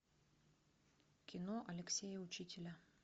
кино алексея учителя